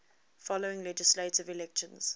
following legislative elections